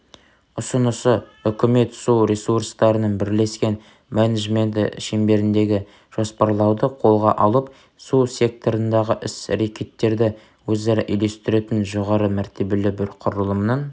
ұсынысы үкімет су ресурстарының бірлескен менеджменті шеңберіндегі жоспарлауды қолға алып су секторындағы іс-рекеттерді өзара үйлестіретін жоғары мәртебелі бір құрылымның